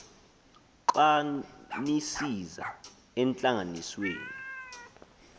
xa nisiza entlanganisweni